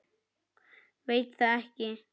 Veit það ekki.